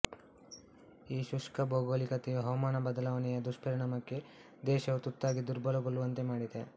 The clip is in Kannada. ಈ ಶುಷ್ಕ ಭೌಗೋಳಿಕತೆಯು ಹವಾಮಾನ ಬದಲಾವಣೆಯ ದುಷ್ಪರಿಣಾಮಕ್ಕೆ ದೇಶವು ತುತ್ತಾಗಿ ದುರ್ಬಲಗೊಳ್ಳುವಂತೆ ಮಾಡಿದೆ